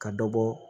Ka dɔ bɔ